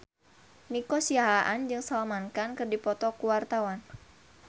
Nico Siahaan jeung Salman Khan keur dipoto ku wartawan